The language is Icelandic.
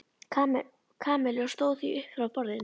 Kamillu og stóð því upp frá borðinu.